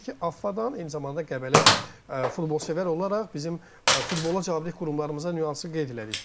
Təbii ki, AFFA-dan, eyni zamanda Qəbələ futbolsevər olaraq bizim futbola cavabdeh qurumlarımıza nüansın qeyd elədik.